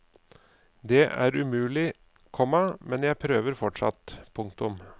Det er umulig, komma men jeg prøver fortsatt. punktum